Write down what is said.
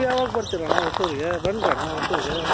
ನೀವು ಯಾವಾಗ ಬರ್ತೀರಾಣ್ಣ ಹೊಸೂರ್ ಗೆ ಬನ್ರಣ್ಣ ಹೊಸೂರ್ ಗೆ